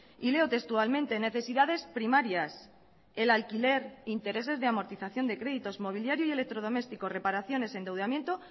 y leo textualmente necesidades primarias el alquiler intereses de amortización de créditos mobiliario y electrodoméstico reparaciones endeudamiento